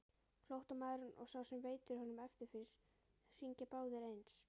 Flóttamaðurinn og sá sem veitir honum eftirför hringja báðir eins.